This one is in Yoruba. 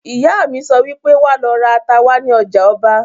Ìyá mi sọ wípé "Wà lọ ra ata wá ní ọjà ọba"!